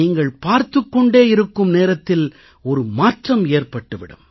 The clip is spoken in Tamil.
நீங்கள் பார்த்துக் கொண்டே இருக்கும் நேரத்தில் மாற்றம் ஏற்பட்டு விடும்